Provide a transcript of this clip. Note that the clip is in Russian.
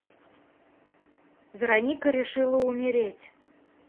вероника решила умереть